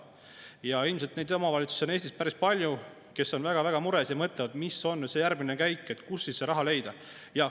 Ja ilmselt neid omavalitsusi on Eestis päris palju, kes on väga mures ja mõtlevad, mis on see järgmine käik, kust siis see raha leida.